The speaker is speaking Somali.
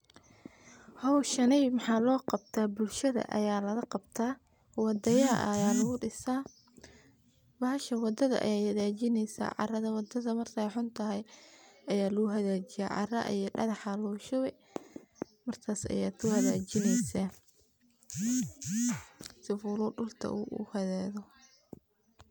Howshani maxaa loo qabta bulshada ayaa lagaqabtaa wadaya aya lagudisaa bahasha wadadha ayee hagaajineysa . Caradha wadadha markeey xuntahay ayaa laguhagaajiya cara iyo dagax ayaa lagushubi markas ayaa kuhagaajineysa sifuluu dulka uu uhagaago.